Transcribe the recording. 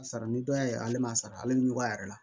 Sara ni dɔ y'a ye ale ma sara ale bi ɲugu a yɛrɛ la